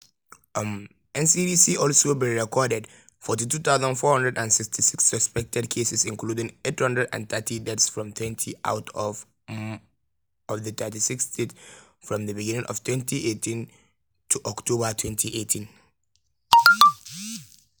um ncdc also bin record 42466 suspected cases including 830 deaths fromtwentyout um of di 36 states from di beginning of 2018 to october 2018.